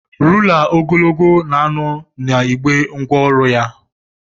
Rula ogologo no na igbé ngwa ọrụ ya.